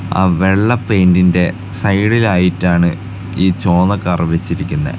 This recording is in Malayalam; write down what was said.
ആ വെളള പെയിൻ്റിൻ്റെ സൈഡിലായിട്ടാണ് ഈ ചോവന്ന കാർ വെച്ചിരിക്കുന്നെ.